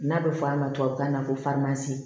N'a bɛ fɔ a ma tubabukan na ko farimasi